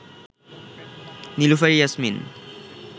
Nilufar Yasmin